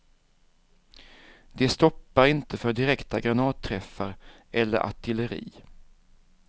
De stoppar inte för direkta granatträffar eller artilleri.